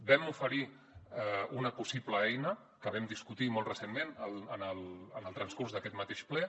vam oferir una possible eina que vam discutir molt recentment en el transcurs d’aquest mateix ple